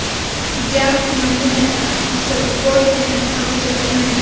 ज्या मांडू नका असं कोर्ट त्यांना सांगू शकत नाही